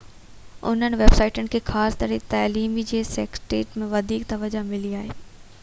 انهن ويب سائيٽن کي خاص ڪري تعليمي جي سيٽنگ ۾ وڌيڪ توجهہ ملي آهي